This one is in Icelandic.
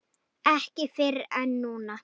Ekki fyrr en núna.